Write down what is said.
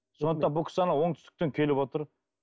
сондықтан бұл кісі анау оңтүстіктен келіп отыр